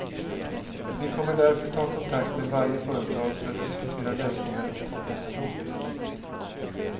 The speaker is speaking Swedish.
Vi kommer därför ta kontakt med varje företag för att diskutera lösningar och kompensation.